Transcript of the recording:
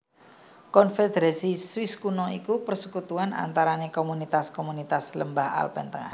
Konfederasi Swiss Kuno iku persekutuan antarane komunitas komunitas lembah Alpen tengah